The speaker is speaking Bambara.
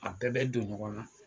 A bɛɛ bɛ don ɲɔgɔn na